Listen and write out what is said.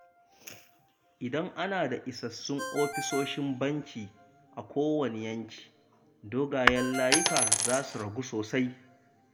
Idan ana da isassun ofisoshin banki a kowanne yanki, dogayen layuka za su ragu sosai.